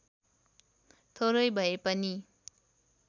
थोरै भए पनि